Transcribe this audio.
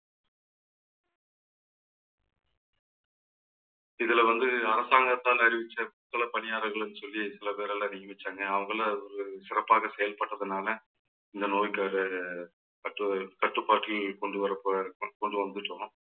இதுல வந்து அரசாங்கத்தால் அறிவிச்ச துப்புறவு பணியாளர்கள்ன்னு சொல்லி சில பேரால நியமிச்சாங்க. அவங்களும் ஒரு சிறப்பாக செயல்பட்டதனால இந்த நோய்க்கான கட்டுற~ கட்டுப்பாட்டில் கொண்டு வர போற இருக்கும்~ கொண்டு வந்துட்டோம்